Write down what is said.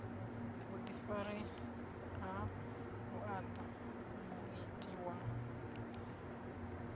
vhuḓifari ha vhuaḓa muiti wa